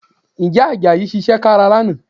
Ǹjẹ́ Àjàyí ṣiṣẹ́ kára lánàá?